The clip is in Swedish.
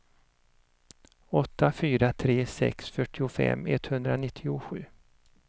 åtta fyra tre sex fyrtiofem etthundranittiosju